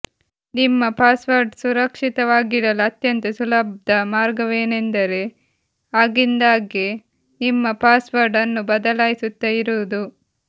ನಿಮ್ಮ ಪಾಸ್ವರ್ಡ್ ಸುರಕ್ಷಿತವಾಗಿಡಲು ಅತ್ಯಂತ ಸುಲಭ್ದ ಮಾರ್ಗವೇನೆಂದರೆ ಆಗಿಂದ್ದಾಗೆ ನಿಮ್ಮ ಪಾಸ್ವರ್ಡ್ ಅನ್ನು ಬದಲಾಯಿಸುತ್ತಾ ಇರುವುದು